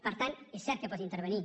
per tant és cert que pot intervenir